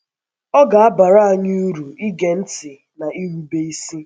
Ọ ga - abara anyị uru ige ntị na irube isi.